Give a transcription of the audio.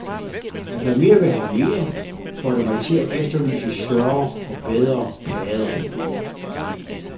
Og da mere vil have mere, får det mig til at efterlyse større og bedre plader.